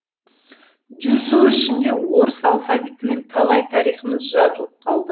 жүз жыл ішінде орыс алфавитімен талай тарихымыз жазылып қалды